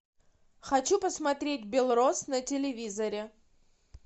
хочу посмотреть белрос на телевизоре